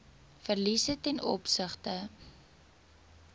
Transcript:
verliese ten opsigte